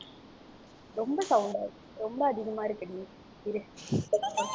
ரொம்ப sound அ ரொம்ப அதிகமா இருக்குடி இரு.